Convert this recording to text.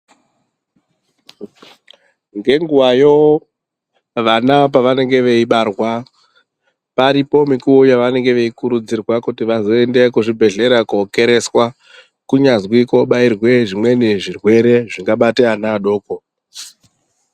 Ngenguwayo vana pavanenge veibarwa paripo mikuwo yavanenge veikurudzirwa kuti vazoende kuzvibhedhlera kokereswa kunyazwi kobairwe zvimweni zvirwere zvingabate ana adoko.